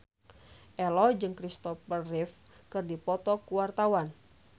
Ello jeung Christopher Reeve keur dipoto ku wartawan